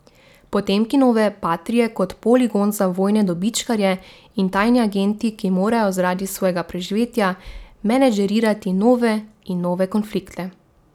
Potemkinove patrie kot poligon za vojne dobičkarje in tajni agenti, ki morajo zaradi svojega preživetja menedžerirati nove in nove konflikte.